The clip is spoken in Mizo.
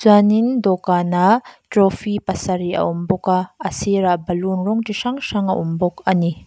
chuan in dawhkanah trophy pasarih a awm bawk a a sirah balloon rawng chi hrang hrang a awm bawk ani.